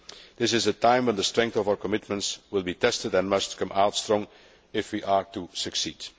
This is a time when the strength of our commitments will be tested and must come out strong if we are to succeed.